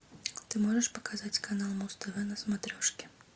ты можешь показать канал муз тв на смотрешке